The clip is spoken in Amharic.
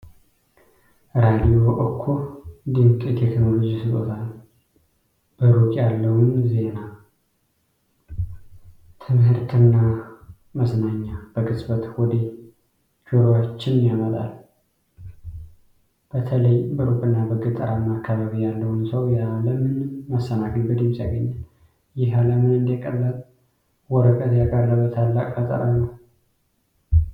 ራዲዮ እኮ ድንቅ የቴክኖሎጂ ስጦታ ነው! በሩቅ ያለውን ዜና፣ ትምህርትና መዝናኛ በቅጽበት ወደ ጆሯችን ያመጣል። በተለይ በሩቅና በገጠራማ አካባቢ ያለውን ሰው ያለ ምንም መሰናክል በድምፅ ያገናኛል። ይህ ዓለምን እንደ ቀላል ወረቀት ያቀረበ ታላቅ ፈጠራ ነው!